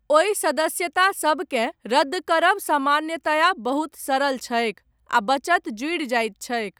ओहि सदस्यता सबकेँ रद्द करब, सामान्यया बहुत सरल छैक, आ बचत जुड़ि जाइत छैक।